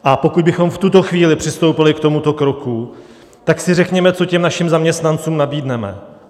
A pokud bychom v tuto chvíli přistoupili k tomuto kroku, tak si řekněme, co těm našim zaměstnancům nabídneme.